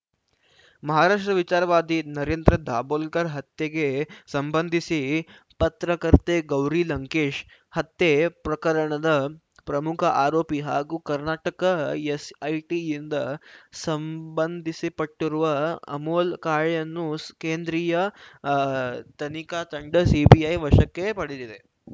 ಮಹಾರಾಷ್ಟ್ರ ವಿಚಾರವಾದಿ ನರೇಂದ್ರ ದಾಭೋಲ್ಕರ್‌ ಹತ್ಯೆಗೆ ಸಂಬಂಧಿಸಿ ಪತ್ರಕರ್ತೆ ಗೌರಿ ಲಂಕೇಶ್‌ ಹತ್ಯೆ ಪ್ರಕರಣದ ಪ್ರಮುಖ ಆರೋಪಿ ಹಾಗೂ ಕರ್ನಾಟಕ ಎಸ್‌ಐಟಿಯಿಂದ ಸಂಬಂಧಿಸಿಪಟ್ಟಿರುವ ಅಮೋಲ್‌ ಕಾಳೆಯನ್ನು ಸ್ ಕೇಂದ್ರೀಯ ಅ ತನಿಖಾ ತಂಡ ಸಿಬಿಐ ವಶಕ್ಕೆ ಪಡೆದಿದೆ